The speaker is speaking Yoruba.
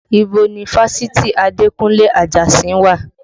Ibo ni fásitì Adekunle Ajasin wà?